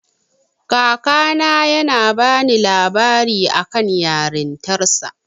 Kakana yana bani labarin akan yarintarsa.